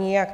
Nijak.